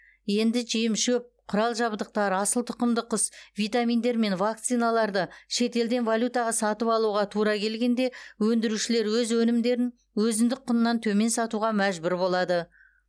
енді жем шөп құрал жабдықтар асыл тұқымды құс витаминдер мен вакциналарды шетелден валютаға сатып алуға тура келгенде өндірушілер өз өнімдерін өзіндік құнынан төмен сатуға мәжбүр болады